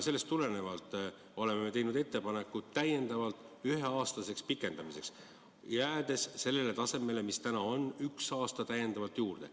Sellest tulenevalt oleme teinud ettepaneku meedet ühe aasta võrra pikendada, jäädes sellele tasemele, mis täna on, lihtsalt üks aasta tuleks juurde.